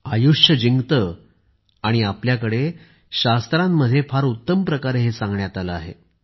आयुष्य जिंकते आणि आपल्याकडे शास्त्रांमध्ये फार उत्तम प्रकारे हे सांगण्यात आले आहे